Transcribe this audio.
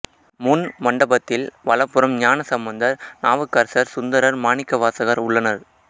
முன் மண்டபத்தில் வலப்புறம் ஞானசம்பந்தர் நாவுக்கரசர் சுந்தரர் மாணிக்கவாசகர் உள்ளனர்